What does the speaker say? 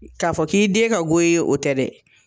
K'a fɔ k'i den ka go i ye o tɛ dɛ